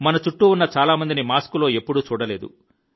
మన చుట్టూ ఉన్న చాలామందిని మాస్క్ లో ఎప్పుడూ చూడలేదు